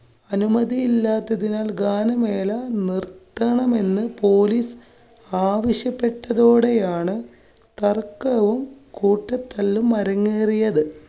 അനുമതിയില്ലാത്തതിനാല്‍ ഗാനമേള നിര്‍ത്ത~ണമെന്ന് police ആവശ്യപ്പെട്ടതോടെയാണ് തര്‍ക്കവും കൂട്ടത്തല്ലും അരങ്ങേറിയത്.